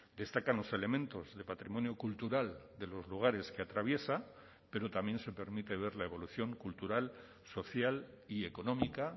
destacan los elementos de patrimonio cultural de los lugares que atraviesa pero también se permite ver la evolución cultural social y económica